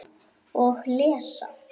Og lesa.